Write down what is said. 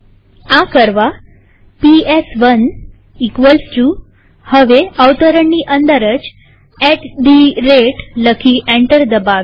આ કરવા પીએસ1 હવે અવતરણની અંદર જ એટી થે રતે લખી એન્ટર દબાવીએ